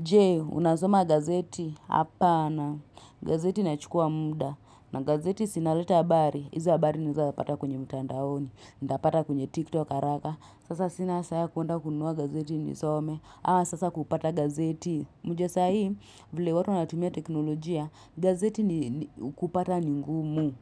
Je, unasoma gazeti hapana. Gazeti inachukua muda. Na gazeti si inaleta habari. Hizo habari ninawezapata kwenye mtandaoni. Nitapata kwenye TikTok haraka. Sasa sina saa ya kwenda kunua gazeti nisome. Ama sasa kupata gazeti. Unajua saa hii, vile watu natumia teknolojia. Gazeti ni kupata ni ngumu.